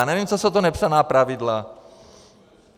Já nevím, co jsou to nepsaná pravidla.